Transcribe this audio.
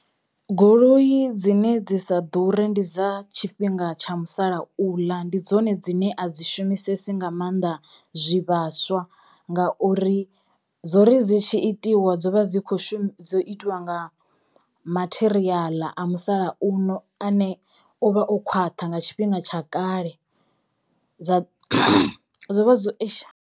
Goloi dzine dzi sa ḓure ndi dza tshifhinga tsha musalauḽa ndi dzone dzine a dzi shumisesi nga mannḓa zwivhaswa ngauri dzo ri dzi tshi itiwa dzo vha dzi kho shuma dzo itiwa nga matheriaḽa a musalauno ane o vha o khwaṱha nga tshifhinga tsha kale dza dzo vha dzo .